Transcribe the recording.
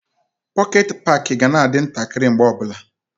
Pọket paki ga na-adị ntakịrị mgbe ọbụla.